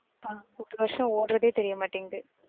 ஆஹ் ஒரு வருஷம் ஓடுறதே தெரியமடிங்கிது.